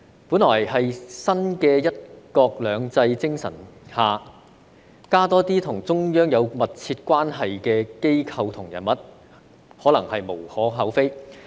本來在新的"一國兩制"精神下，增加多些與中央有密切關係的機構和人物，可能是無可厚非。